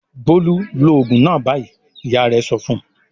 "Bólú lo òògùn náà báyìí!" Ìyá rẹ̀ sọ fún un.